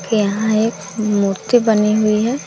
यहां एक मूर्ति बनी हुई है।